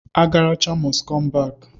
Agaracha most come back.